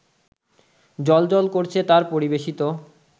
জ্বলজ্বল করছে তাঁর পরিবেশিত